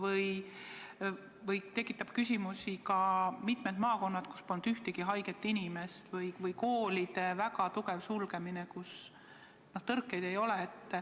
Samuti tekitab küsimusi mitmete maakondade sulgemine, kus polnud ühtegi haiget inimest, või koolide väga tugev sulgemine, kus tõrkeid ei olnud.